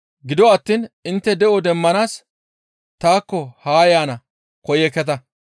Gido attiin intte de7o demmanaas taakko ha yaana koyekketa.